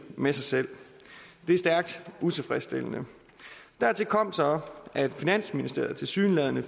med sig selv det er stærkt utilfredsstillende dertil kommer så at finansministeriet tilsyneladende